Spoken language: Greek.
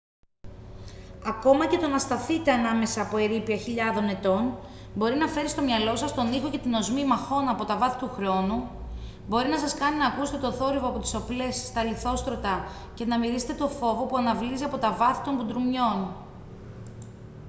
ακόμα και το να σταθείτε ανάμεσα από ερείπια χιλιάδων ετών μπορεί να φέρει στο μυαλό σας τον ήχο και την οσμή μαχών από τα βάθη του χρόνου μπορεί να σας κάνει να ακούσετε τον θόρυβο από τις οπλές στα λιθόστρωτα και να μυρίσετε το φόβο που αναβλύζει από τα βάθη των μπουντρουμιών